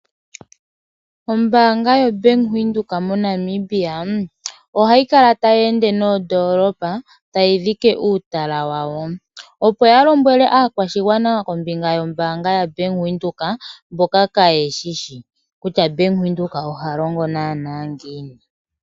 Ombaanga yo Bank Windhoek mo Namibia ohayi kala tayi ende noondolopa tayi dhike uutala wayo. Opo ya lombwele aakwashigwana kombinga yo mbaanga ya Bank Windhoek mboka kaye shishi kutya Bank Windhoek oha longo naana ngiini.